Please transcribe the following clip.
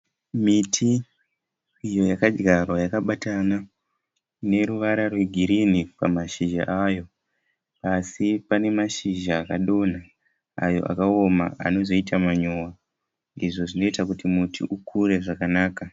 Miti iyo yakadyarwa yakabatana ine ruvara rwegirinhi pamashizha payo asi pane mashizha akadonha ayo akaoma anozoita manyowa izvo zvinoita kuti muti ukure zvakanaka.